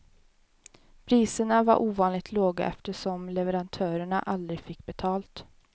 Priserna var ovanligt låga eftersom leverantörerna aldrig fick betalt.